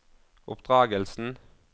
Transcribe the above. oppdragelsen